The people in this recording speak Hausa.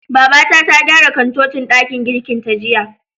Babata ta gyara kantocin ɗakin girkin ta jiya.